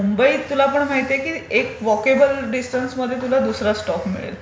पण मुंबईत तुला पण माहिती आहे की एक वोकेबल डिसटन्समध्ये तुला दूसरा स्टॉप मिळेल,